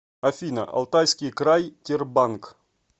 афина алтайский край тербанк